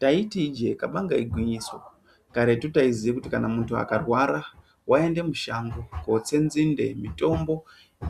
Taiti ijee kabanga igwinyiso karetu taiziye kuti kana muntu akarwara vaiende mushango kotse nzinde mitombo